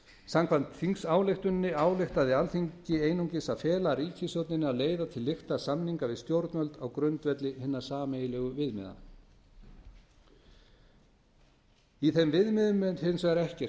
samkvæmt þingsályktuninni ályktaði alþingis einungis að fela ríkisstjórninni að leiða til lykta samninga við stjórnvöld á grundvelli hinna sameiginlegu viðmiða í þeim viðmiðum er hins vegar ekkert